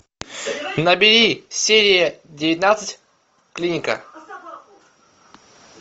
набери серия девятнадцать клиника